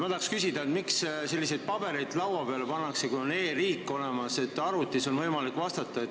Ma tahan küsida, miks selliseid pabereid laua peale pannakse, kui on olemas e-riik ja on võimalik arvutis vastata.